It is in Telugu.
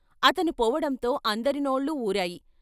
అతను పోవడంతో అందరినోళ్లూ ఊరాయి.